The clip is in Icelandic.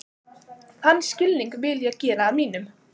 Þann skilning vil ég gera að mínum.